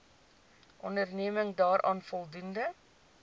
onderneming daaraan voldoen